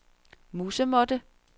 musemåtte